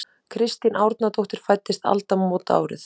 Kristín Árnadóttir fæddist aldamótaárið.